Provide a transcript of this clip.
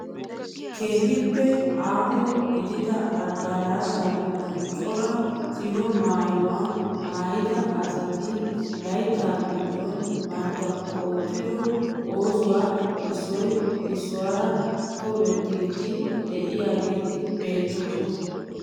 Keehippe aaho gidida adaraashaa giddon cora siho maayuwaa maayida asati layttaa giddon bantta oottido oosuwaa issoy issuwaara tobettiidi de'iyaageti beettoosona.